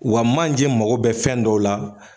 Wa manje mago bɛ fɛn dɔw la